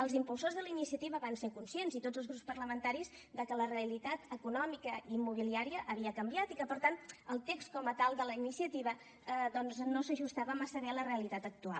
els impulsors de la iniciativa van ser conscients i tots els grups parlamentaris de que la realitat econòmica immobiliària havia canviat i que per tant el text com a tal de la iniciativa doncs no s’ajustava massa bé a la realitat actual